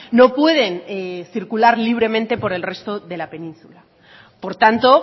no pueden circular libremente por el resto de la península por tanto